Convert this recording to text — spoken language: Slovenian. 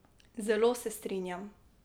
Zelo se strinjam.